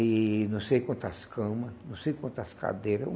E não sei quantas camas, não sei quantas cadeiras.